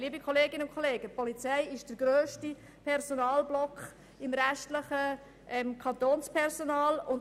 Liebe Kolleginnen und Kollegen, die Polizei ist nach den Lehrpersonen die grösste Gruppe innerhalb des Kantonspersonals.